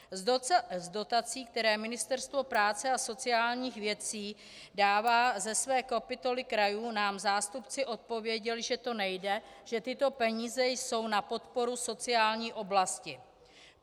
Z dotací, které Ministerstvo práce a sociálních věcí dává ze své kapitoly krajů, nám zástupci odpověděli, že to nejde, že tyto peníze jsou na podporu sociální oblasti.